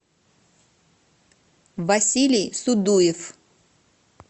василий судуев